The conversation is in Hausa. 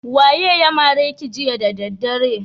Waye ya mare ki jiya da daddare?